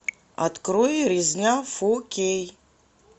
открой резня фор кей